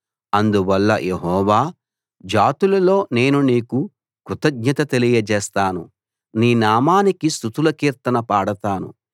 అందువల్ల యెహోవా జాతులలో నేను నీకు కృతజ్ఞత తెలియజేస్తాను నీ నామానికి స్తుతుల కీర్తన పాడతాను